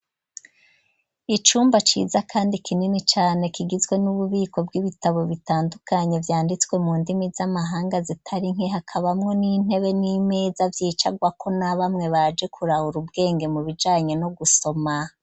Icumba ciza kandi kinini cane kigizwe n'ububiko bw'ibitabo bitandukanye vyanditswe mu ndimi z'amahanga zitari nke hakabamwo n'intebe n'imeza vyicagwako na bamwe baje kurahura ubwenge mu bijanye no gusoma.